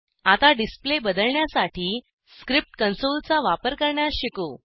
आता डिस्प्ले बदलण्यासाठी script console चा वापर करण्यास शिकू